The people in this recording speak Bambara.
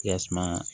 Yasaa